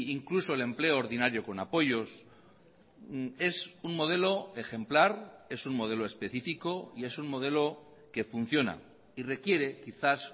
incluso el empleo ordinario con apoyos es un modelo ejemplar es un modelo específico y es un modelo que funciona y requiere quizás